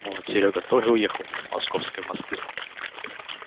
может серёга тоже уехал с московской в москву